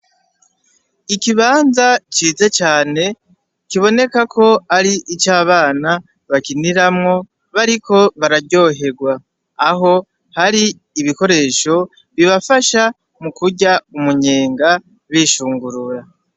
Ikibanza ciza cane, kiboneka ko ari ico abana bakiniramwo bariko bararyoherwa. Aho hari ibikoresho bibafasha mu kurya umunyenga bishungurura.